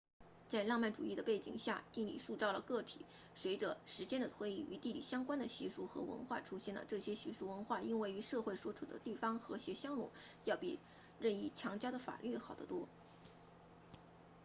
在浪漫主义的背景下地理塑造了个体随着时间的推移与地理相关的习俗和文化出现了这些习俗文化因为与社会所处的地方和谐相融要比任意强加的法律好得多